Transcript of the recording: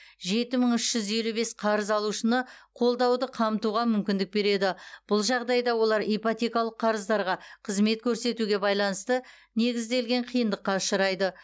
жеті мың үш жүз елу бес қарыз алушыны қолдауды қамтуға мүмкіндік береді бұл жағдайда олар ипотекалық қарыздарға қызмет көрсетуге байланысты негізделген қиындыққа ұшырайды